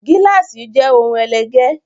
Gíláàsì jé òun ẹlẹgẹ